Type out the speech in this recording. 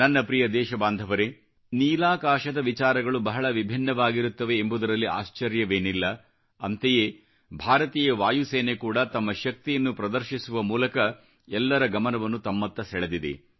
ನನ್ನ ಪ್ರಿಯ ದೇಶಬಾಂಧವರೆ ನೀಲಾಕಾಶದ ವಿಚಾರಗಳು ಬಹಳ ವಿಭಿನ್ನವಾಗಿರುತ್ತವೆ ಎಂಬುದರಲ್ಲಿ ಆಶ್ಚರ್ಯವೇನಿಲ್ಲ ಅಂತೆಯೇ ಭಾರತೀಯ ವಾಯುಸೇನೆ ಕೂಡಾ ತಮ್ಮ ಶಕ್ತಿಯನ್ನು ಪ್ರದರ್ಶಿಸುವ ಮೂಲಕ ಎಲ್ಲರ ಗಮನವನ್ನು ತಮ್ಮತ್ತ ಸೆಳೆದಿದೆ